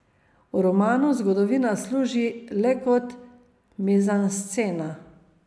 V romanu zgodovina služi le kot mizanscena.